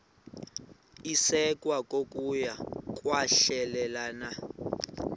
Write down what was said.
isekwa kokuya kwahlulelana